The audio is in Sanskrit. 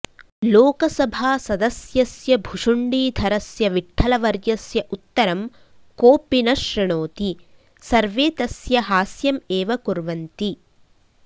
लोकसभासदस्यस्य भुशुण्डीधरस्य विठ्ठलवर्यस्य उत्तरं कोऽपि न शृणोति सर्वे तस्य हास्यम् एव कुर्वन्ति